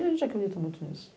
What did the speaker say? E a gente acredita muito nisso.